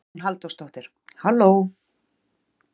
Hugrún Halldórsdóttir: Halló?